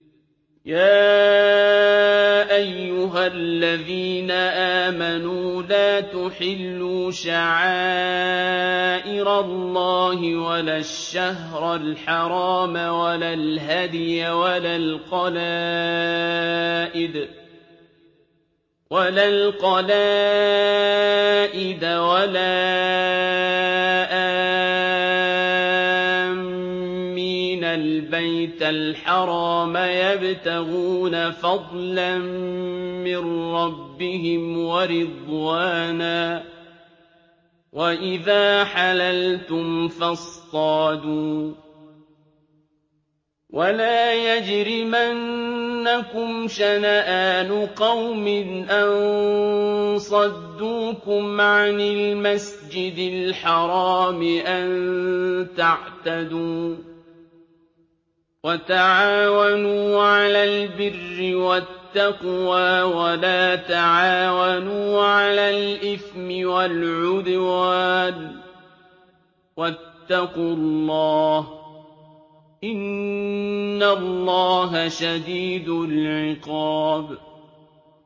يَا أَيُّهَا الَّذِينَ آمَنُوا لَا تُحِلُّوا شَعَائِرَ اللَّهِ وَلَا الشَّهْرَ الْحَرَامَ وَلَا الْهَدْيَ وَلَا الْقَلَائِدَ وَلَا آمِّينَ الْبَيْتَ الْحَرَامَ يَبْتَغُونَ فَضْلًا مِّن رَّبِّهِمْ وَرِضْوَانًا ۚ وَإِذَا حَلَلْتُمْ فَاصْطَادُوا ۚ وَلَا يَجْرِمَنَّكُمْ شَنَآنُ قَوْمٍ أَن صَدُّوكُمْ عَنِ الْمَسْجِدِ الْحَرَامِ أَن تَعْتَدُوا ۘ وَتَعَاوَنُوا عَلَى الْبِرِّ وَالتَّقْوَىٰ ۖ وَلَا تَعَاوَنُوا عَلَى الْإِثْمِ وَالْعُدْوَانِ ۚ وَاتَّقُوا اللَّهَ ۖ إِنَّ اللَّهَ شَدِيدُ الْعِقَابِ